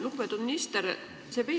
Lugupeetud minister!